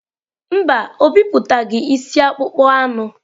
Mba, o bipụtaghị isi akpụkpọ anụ.